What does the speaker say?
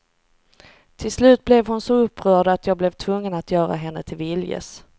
Till slut blev hon så upprörd att jag blev tvungen att göra henne till viljes.